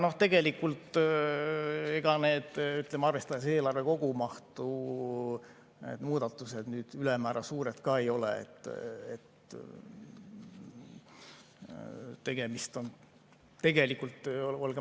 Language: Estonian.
Aga tegelikult need muudatused, arvestades eelarve kogumahtu, ülemäära suured ei ole.